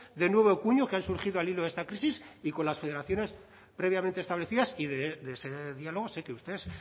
de nuevo cuño que han surgido al hilo de esta crisis y con las federaciones previamente establecidas y de ese diálogo sé que ustedes